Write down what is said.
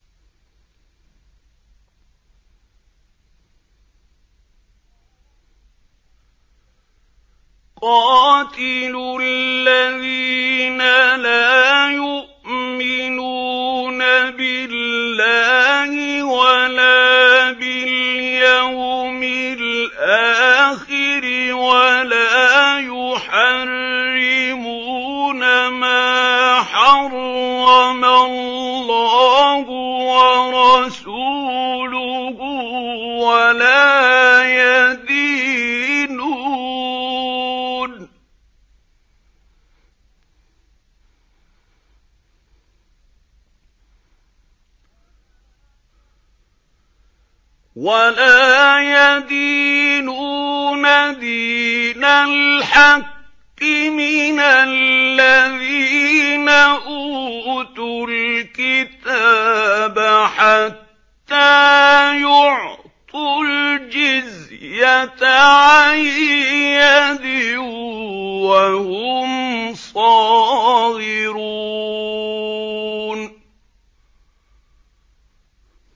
قَاتِلُوا الَّذِينَ لَا يُؤْمِنُونَ بِاللَّهِ وَلَا بِالْيَوْمِ الْآخِرِ وَلَا يُحَرِّمُونَ مَا حَرَّمَ اللَّهُ وَرَسُولُهُ وَلَا يَدِينُونَ دِينَ الْحَقِّ مِنَ الَّذِينَ أُوتُوا الْكِتَابَ حَتَّىٰ يُعْطُوا الْجِزْيَةَ عَن يَدٍ وَهُمْ صَاغِرُونَ